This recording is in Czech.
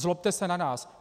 Zlobte se na nás.